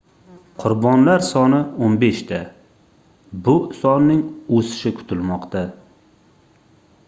qurbonlar soni 15 ta bu sonning oʻsishi kutilmoqda